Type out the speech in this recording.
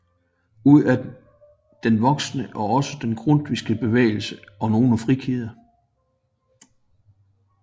Ud af den voksede også den grundtvigske bevægelse og nogle frikirker